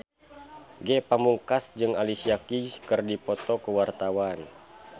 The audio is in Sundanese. Ge Pamungkas jeung Alicia Keys keur dipoto ku wartawan